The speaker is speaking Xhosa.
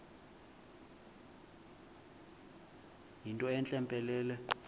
yinto entle mpelele